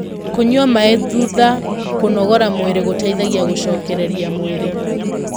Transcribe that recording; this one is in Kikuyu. kũnyua maĩ thutha kũnogora mwĩrĩ gũteithagia gucokererĩa mwĩrĩ